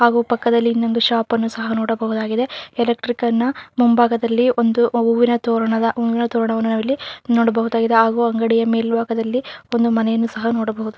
ಹಾಗು ಪಕ್ಕದಲ್ಲಿ ಇನ್ನೊಂದು ಶಾಪ ನ್ನು ಸಹ ನೋಡಬಹುದಾಗಿದೆ ಎಲೆಕ್ಟ್ರಿಕ್ ನ ಮುಂಭಾಗದಲ್ಲಿ ಒಂದು ಹೂವಿನ ತೋರಣದ ಹೂವಿನ ತೋರಣವನ್ನು ನಾವಿಲ್ಲಿ ನೋಡಬಹುದಾಗಿದೆ ಹಾಗು ಅಂಗಡಿಯ ಮೇಲ್ಬಾಗದಲ್ಲಿ ಒಂದು ಮನೆಯನ್ನು ಸಹ ನೋಡಬಹುದು.